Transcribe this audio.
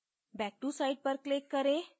back to site पर click करें